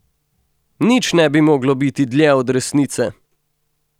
Nič ne bi moglo biti dlje od resnice!